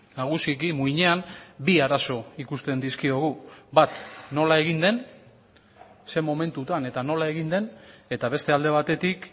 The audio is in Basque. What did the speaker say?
nagusiki muinean bi arazo ikusten dizkiogu bat nola egin den ze momentutan eta nola egin den eta beste alde batetik